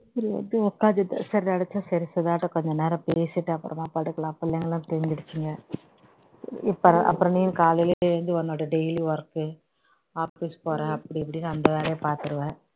சரி வந்து உட்கார்ந்திருந்தேன் சரி நினைச்சேன் சரி சுதாகிட்ட கொஞ்ச நேரம் பேசிட்டு அப்புறமா படுக்கலாம் பிள்ளைங்கெல்லாம் தூங்கிருச்சுங்க இப்ப அப்புறம் நீயும் காலைலே எழுந்து உன்னோட daily work office போற அப்படி இப்படின்னு அந்த வேலையை பாத்துருவ